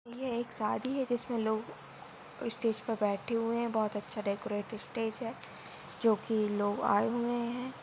ये एक शादी है जिसमें लोग स्टेज पर बैठे हुए हैं बहुत अच्छा डेकोरेट स्टेज है जो कि लोग आए हुए हैं।